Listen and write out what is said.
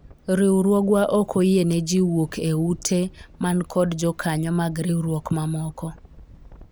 riwruogwa ok oyie ne jii wuok e ute man kod jokanyo mag riwruok mamoko